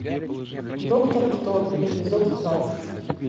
доктор кто эпизод двадцать